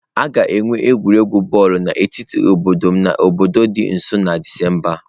A ga-enwe egwuregwu bọọlụ n'etiti obodo m na obodo dị nso na Disemba a.